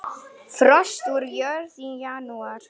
Frost úr jörð í janúar.